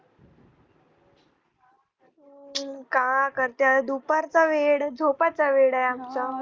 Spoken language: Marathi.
का करते दुपारचा वेळ झोपायचा वेळ आमचा